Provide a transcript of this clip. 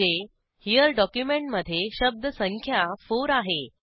म्हणजे हेरे डॉक्युमेंटमधे शब्दसंख्या 4 आहे